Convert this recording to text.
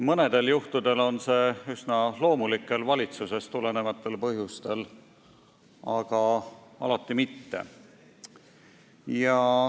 Mõnedel juhtudel on see üsna loomulikel, valitsusest tulenevatel põhjustel, aga alati mitte.